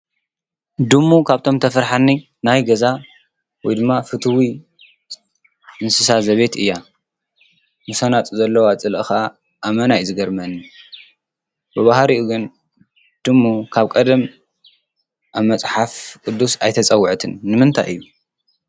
ድሙ ካብቶም ተፈራሒኒ ናይ ገዛ ወይ ድማ ፍትዊ እንስሳ ዘቤት እያ ። ምስኣናፁ ዘለዎ ፀልኢ ከዓ አመና እዩ ዝገርመኒ። ብባህሪኢ ግን ድሙ ካብ ቀደም አብ መፀሓፍ ቁዱስ አይተፀወዐትን። ንምንታይ እዩ?